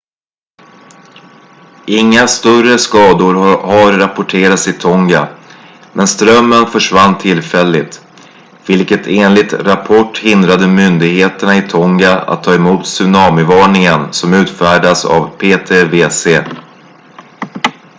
inga större skador har rapporterats i tonga men strömmen försvann tillfälligt vilket enligt rapport hindrade myndigheterna i tonga att ta emot tsunamivarningen som utfärdats av ptwc